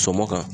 Sɔmɔ kan